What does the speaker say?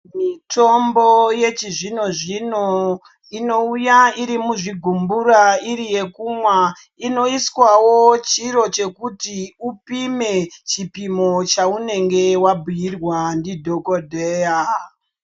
Mitombo yechizvino zvino inouya gumburabiri yekumwwa inoiswawo chiro chekuti chipimo chanenge wabhuirwa ndidhokodheya.